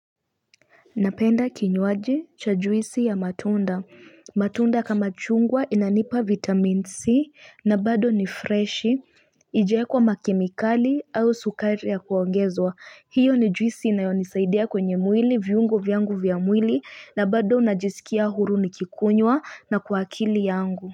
Napenda kinywaji cha juisi ya matunda. Matunda kama chungwa inanipa vitamin C na bado ni freshi. Haijaekwa makemikali au sukari ya kuongezwa. Hiyo ni juisi inayonisaidia kwenye mwili viungo vyangu vya mwili na bado unajisikia huru nikikunywa na kwa akili yangu.